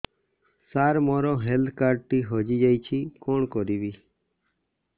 ସାର ମୋର health card ଟି ହଜି ଯାଇଛି କଣ କରିବି